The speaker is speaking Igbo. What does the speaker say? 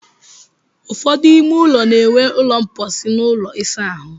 Ụfọdụ ime ụlọ na-enwe ụlọ mposi na ụlọ ịsa ahụ.